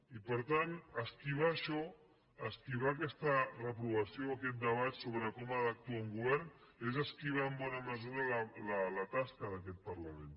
i per tant esquivar això esquivar aquesta reprovació aquest debat sobre com ha d’actuar un govern és esquivar en bona mesura la tasca d’aquest parlament